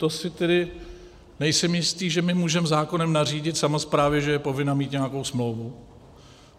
To si tedy nejsem jistý, že my můžeme zákonem nařídit samosprávě, že je povinna mít nějakou smlouvu.